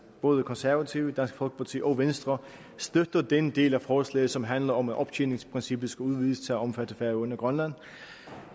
både konservative dansk folkeparti og venstre støtter den del af forslaget som handler om at optjeningsprincippet skal udvides til at omfatte færøerne og grønland